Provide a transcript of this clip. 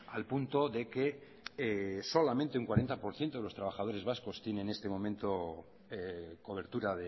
al punto de que solamente un cuarenta por ciento de los trabajadores vascos tiene en este momento cobertura